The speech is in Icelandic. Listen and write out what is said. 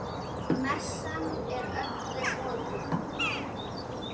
Messan er öllum opin.